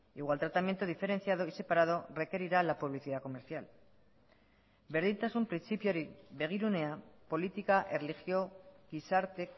igual tratamiento diferenciado y separado requerirá la publicidad comercial berdintasun printzipioari begirunea politika erlijio gizarte